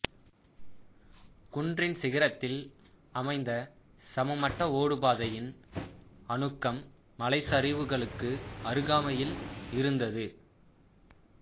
குன்றின் சிகரத்தில் அமைந்த சமமட்ட ஓடுபாதையின் அணுக்கம் மலைச்சரிவுகளுக்கு அருகாமையில் இருந்தது